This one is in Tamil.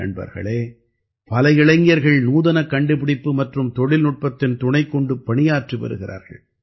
நண்பர்களே பல இளைஞர்கள் நூதனக் கண்டுபிடிப்பு மற்றும் தொழில்நுட்பத்தின் துணைக்கொண்டு பணியாற்றி வருகிறார்கள்